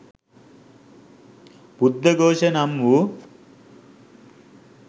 බුද්ධඝෝෂ නම් වූ